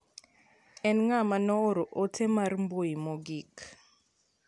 En ng'ama ne ooro ote mar mbui mogik.